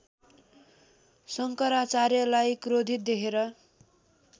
शङ्कराचार्यलाई क्रोधित देखेर